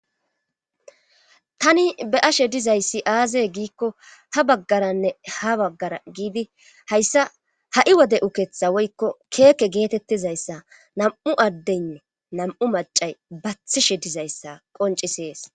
Tani be7ashe dizayssi aaze giikko ha bagga ha baggara gididi hayssa ha7i wode uketha woykko keeke geetetidayssa nam7u addey nam7u maccay kathishe dizayssa qonccisees